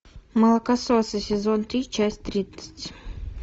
молокососы сезон три часть тридцать